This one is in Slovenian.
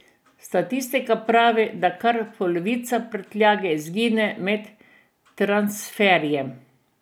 Statistika pravi, da kar polovica prtljage izgine med transferjem.